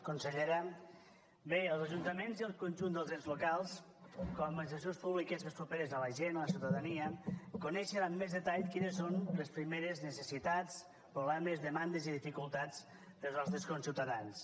consellera bé els ajuntaments i el conjunt dels ens locals com a administracions públiques més properes a la gent a la ciutadania coneixen amb més detall quines són les primeres necessitats problemes demandes i dificultats dels nostres conciutadans